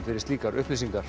fyrir slíkar upplýsingar